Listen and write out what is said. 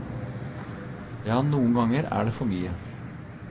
Ja, noen ganger er det for mye.